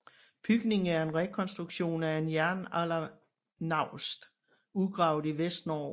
Bygningen er en rekonstruktion af en jernaldernaust udgravet i Vestnorge